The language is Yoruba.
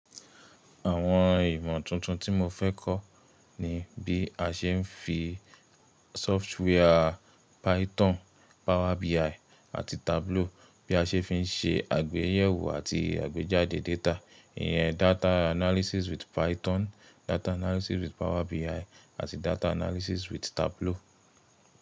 Àwọn ìmọ̀ tuntun tí mo fẹ́ kọ́ ni bí a ṣe ń fi software Python, Power BIaì àti Tableau bí a ṣe fi ń ṣe àgbéyẹ̀wò àti àgbéjáde data. Ìyẹn data analysis with Python, data analysis with Power BI àti data analysis with Tableau.